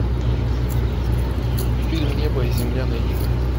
фильм небо и земля найди ка